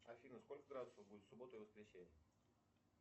афина сколько градусов будет в субботу и воскресенье